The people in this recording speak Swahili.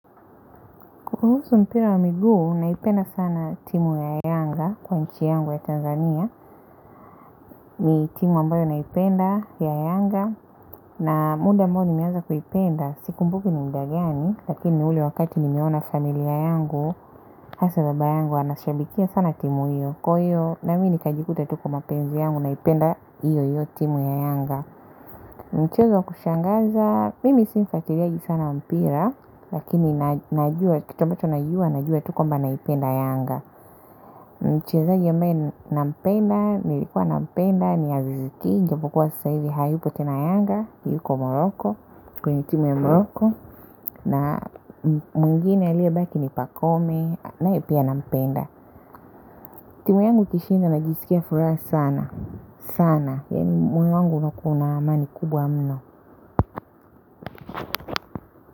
Kukuhusu mpira wa miguu naipenda sana timu ya yanga kwa nchi yangu ya Tanzania. Mi timu ambayo naipenda ya yanga na muda ambao nimeanza kuipenda. Sikumbuki ni mda gani lakini ni ule wakati nimeona familia yangu hasa baba yangu, anashabikia sana timu hiyo. Kwa hiyo na mi ni kajikuta tu kwa mapenzi yangu naipenda hiyo hiyo timu ya yanga. Mchezo wa kushangaza mimi sio mfuatiliaji sana mpira lakini najua, kitu ambacho najua najua tu kwamba naipenda yanga nampenda nilikua nampenda ni aziz ki japo kuwa sasa hivi hayupo tena yanga yupo moroko kwenye timu ya moroko na mwingine aliye baki ni pakome naye pia na mpenda timu yangu ikishinda najisikia furaha sana sana moyo wangu unakuwa una amani kubwa mno.